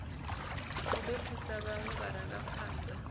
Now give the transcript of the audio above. u ḓo thusa vhaṅwe vharangaphan